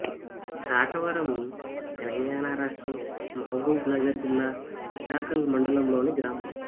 కాటవరం తెలంగాణ రాష్ట్రం మహబూబ్ నగర్ జిల్లా అడ్డాకల్ మండలంలోని గ్రామం